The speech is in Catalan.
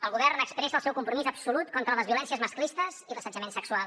el govern expressa el seu compromís absolut contra les violències masclistes i l’assetjament sexual